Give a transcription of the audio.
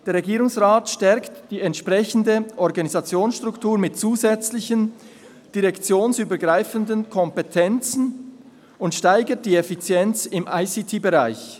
Der Regierungsrat stärkt die entsprechende Organisationsstruktur mit zusätzlichen direktionsübergreifenden Kompetenzen und steigert die Effizienz im ICT-Bereich.